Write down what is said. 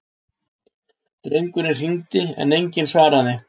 Drengurinn hringdi en enginn svaraði.